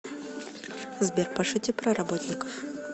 сбер пошути про работников